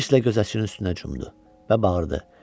Hirslə gözətçinin üstünə cumdu və bağırdı: